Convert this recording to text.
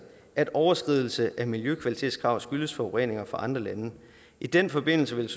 at overskridelse af miljøkvalitetskrav skyldes forureninger fra andre lande i den forbindelse ville